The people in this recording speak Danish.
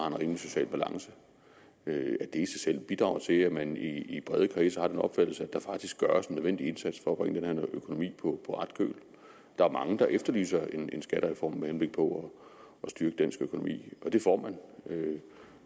en rimelig social balance i sig selv bidrager til at man i brede kredse har den opfattelse at der faktisk gøres den nødvendige indsats for at bringe den her økonomi på ret køl der er mange der efterlyser en skattereform med henblik på at styrke dansk økonomi og den får man